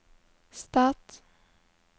stat